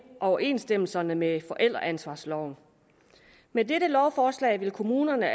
overensstemmelse med forældreansvarsloven med dette lovforslag vil kommunerne